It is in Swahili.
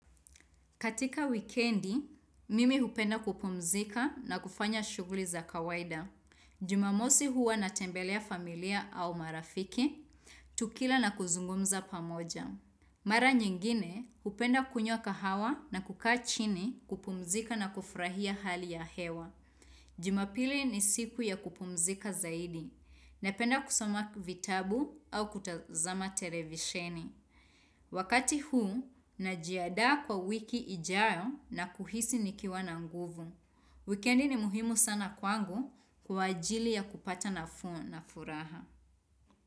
Katika wikendi, mimi hupenda kupumzika na kufanya shuguli za kawaida. Jumamosi huwa na tembelea familia au marafiki, tukila na kuzungumza pamoja. Mara nyingine, hupenda kunywa kahawa na kukaa chini kupumzika na kufurahia hali ya hewa. Jumapili ni siku ya kupumzika zaidi, na penda kusama vitabu au kutazama televisheni. Wakati huu, najiadaa kwa wiki ijayo na kuhisi nikiwa na nguvu. Wikendi ni muhimu sana kwangu kwa ajili ya kupata na fuo na furaha.